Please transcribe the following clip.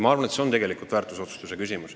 Ma arvan, et siin on küsimus väärtusotsustes.